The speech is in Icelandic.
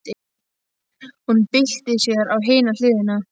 Hún byltir sér á hina hliðina.